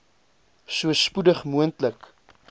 so spoedig moontlik